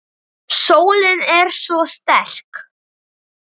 Sólin er svo sterk.